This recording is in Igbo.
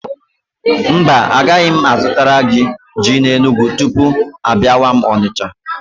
Mba, agaghị m azụtara gị ji n'Enugwu tupu mụ abịawa Onicha?